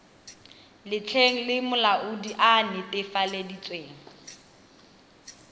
letlheng le molaodi a netefaleditsweng